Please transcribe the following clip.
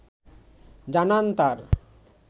জানান তার